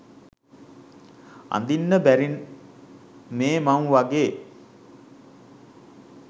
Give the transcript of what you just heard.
අඳින්න බැරි මේ මං වගේ?